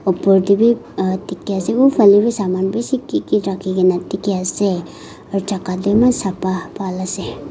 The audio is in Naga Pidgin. opor teh wii ah dikhi ase uwhale wi saman bishi kiki rakhigena dikhi ase aru jaga tu maan sapa bhal ase.